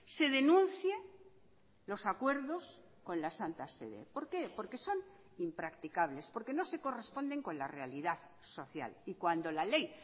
se denuncie los acuerdos con la santa sede por qué porque son impracticables porque no se corresponden con la realidad social y cuando la ley